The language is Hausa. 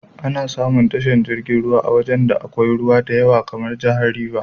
Ana samun tashar jirgin ruwan a wajan da akwai ruwa diyawa kamar jahar River.